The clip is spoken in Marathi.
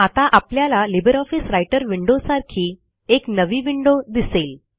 आता आपल्याला लिब्रिऑफिस राइटर विंडो सारखी एक नवी विंडो दिसेल